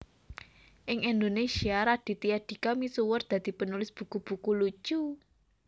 Ing Indonésia Raditya Dika misuwur dadi penulis buku buku lucu